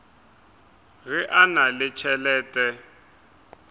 ge a na le tšhelete